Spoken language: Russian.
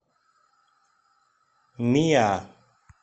миа